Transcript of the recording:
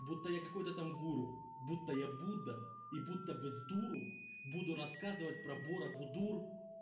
будто я какой-то там гуру будто я будда и будто бы сдуру буду рассказывать про боробудур